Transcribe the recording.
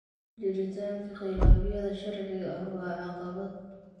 Jiritaanka khilaafyada sharciga ah waa caqabad.